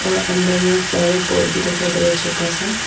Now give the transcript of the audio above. अंदर में flower pot भी दिखाई दे रहा है छोटा सा।